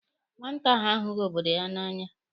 Nwata ahụ ahụghi obodo ya n'anya.